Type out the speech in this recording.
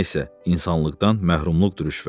Nə isə, insanlıqdan məhrumluqdur rüşvət.